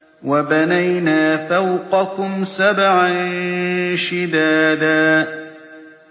وَبَنَيْنَا فَوْقَكُمْ سَبْعًا شِدَادًا